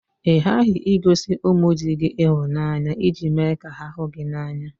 Ị ghaghị igosi ụmụ di gị ịhụnanya iji me ka ha hụ gị n'anya